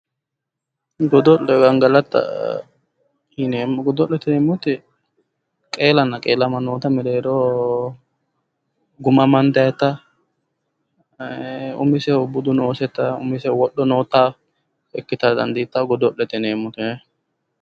Godo'le gangalata yineemo, godo'lete yineemo woyte qeelana qeelama noota mereeroho Guma amandayita umisehu budu nooseta, umisehu wodho noota, ikitara dandiitawo, godo'lete yineemo kayi